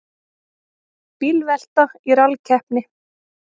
Bílvelta í rallkeppni